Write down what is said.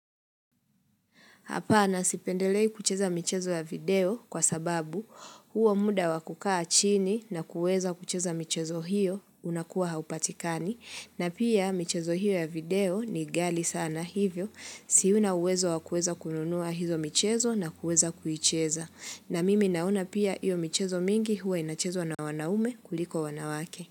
Hapana sipendelei kucheza michezo ya video kwa sababu huo muda wa kukaa chini na kuweza kucheza michezo hiyo unakuwa haupatikani. Na pia michezo hiyo ya video ni ghali sana hivyo siuna uwezo wakueza kununua hizo michezo na kuweza kuicheza. Na mimi naona pia hiyo michezo mingi huwa inachezwa na wanaume kuliko wanawake.